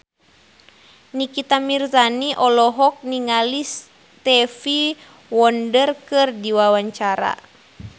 Nikita Mirzani olohok ningali Stevie Wonder keur diwawancara